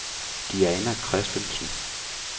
Diana Christensen